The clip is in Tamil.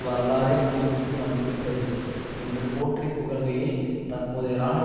வரலாறே முடிவிற்கு வந்துவிட்டது என்று போற்றி புகழ்கையில் தற்போதைய இராணுவ